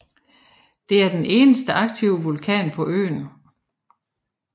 Det er den eneste aktive vulkan på øen